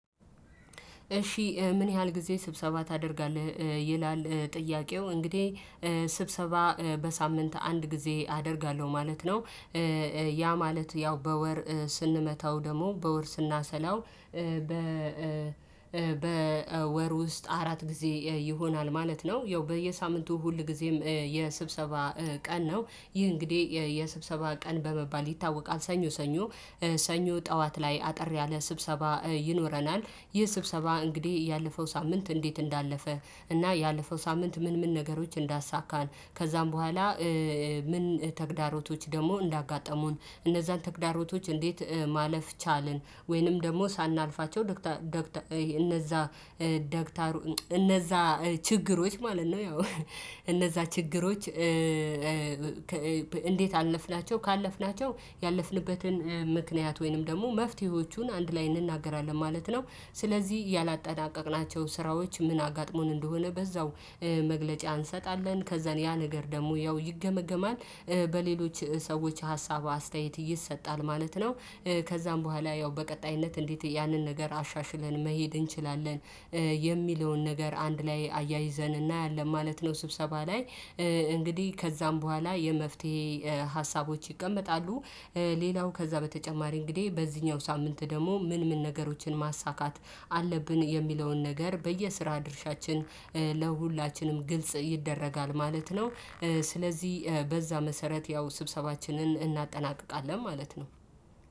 እሺ ምን ያህል ጊዜ ስብሰባ ታደርጋለህ ይላል ጥያቄው። እንግዲህ ስብሰባ በሳምንት አንድ ጊዜ አደርጋለሁ ማለት ነው። ያ ማለት ያው በወር ስንመታው ደግሞ በወር ስናሰላው በ በወር ውስጥ አራት ጊዜ ይሆናል ማለት ነው። ያው በየሳምንቱ ሁልጊዜም የስብሰባ ቀን ነው። ይህ እንግዲህ የስብሰባ ቀን በመባል ይታወቃል ሰኞ ሰኞ ሰኞ ጠዋት ላይ አጠር ያለ ስብሰባ ይኖረናል። ይህ ስብሰባ እንግዲህ ያለፈው ሳምንት እንዴት እንዳለፈ እና ያለፈው ሳምንት ምን ምን ነገሮች እንዳሳካን ከዛም በኋላ ምን ተግዳሮቶች ደግሞ እንዳጋጠሙን፣ እነዛን ተግዳሮቶች እንዴት ማለፍ ቻልን ወይንም ደግሞ ሳናልፋቸው ደግታ ደግታ እነዛ ደግታሩ እነዛ ችግሮች ማለት ነው ያው እነዛ ችግሮች እንዴት አለፍናቸው ካለፍናቸው ያለፍንበትን ምክንያት ወይንም ደግሞ መፍትሄዎቹን አንድ ላይ እንናገራለን ማለት ነው። ስለዚህ ያላጠናቀቅናቸው ስራዎች ምን አጋጥሞን እንደሆነ በዛው መግለጫ እንሰጣለን። ከዛን ያ ነገር ደግሞ ያው ይገመገማል። በሌሎች ሰዎች ሀሳብ አስተያየት ይሰጣል ማለት ነው። ከዛም በኋላ ያው በቀጣይነት እንዴት ያንን ነገር አሻሽለን መሄድ እንችላለን የሚለውን ነገር አንድ ላይ አያይዘን እናያለን ማለት ነው ስብሰባ ላይ። እንግዲህ ከዚያም በኋላ የመፍትሄ ሀሳቦች ይቀመጣሉ። ሌላው ከዛ በተጨማሪ እንግዲህ በዚህኛው ሳምንት ደግሞ ምን ምን ነገሮችን ማሳካት አለብን የሚለውን ነገር በየስራ ድርሻችን ለሁላችንም ግልጽ ይደረጋል ማለት ነው። ስለዚህ በዛ መሰረት ያው ስብሰባችንን እናጠናቅቃለን ማለት ነው።